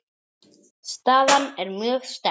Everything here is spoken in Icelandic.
Staðan er mjög sterk.